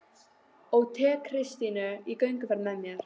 Og tek Kristínu í gönguferðir með mér